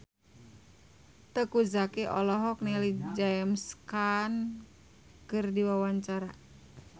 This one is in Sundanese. Teuku Zacky olohok ningali James Caan keur diwawancara